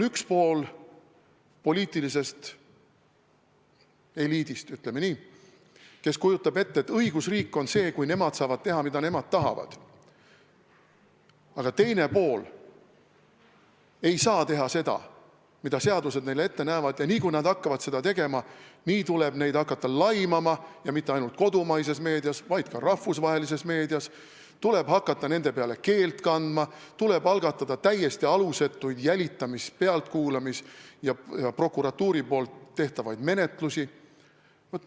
Üks pool meie poliitilisest eliidist, ütleme nii, kujutab ette, et õigusriik on see, kui nemad saavad teha, mida nemad tahavad, aga teine pool ei saa teha seda, mida seadused neile ette näevad, ja kui nad hakkavad seda tegema, siis tuleb neid hakata laimama ja mitte ainult kodumaises meedias, vaid ka rahvusvahelises meedias, tuleb hakata nende peale keelt kandma, tuleb algatada täiesti alusetuid jälitamis-, pealtkuulamis- ja prokuratuuri menetlusi.